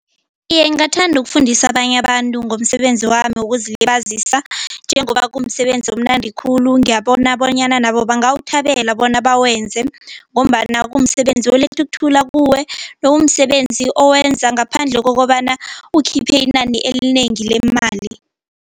Iye, ngingathanda ukufundisa abanye abantu ngomsebenzi wami wokuzilibazisa njengoba kumsebenzi omnandi khulu ngiyabona bonyana nabo bangawuthabela bona bawenze ngombana kumsebenzi oletha ukuthula kuwe nokumsebenzi owenza ngaphandle kokobana ukhiphe inani elinengi lemali.